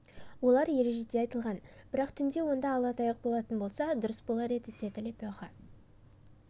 олар ережеде айтылған бірақ түнде онда ала таяқ болатын болса дұрыс болар еді деді лепеха